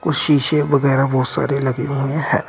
शीशे वगैरह बहुत सारे लगे हुए हैं।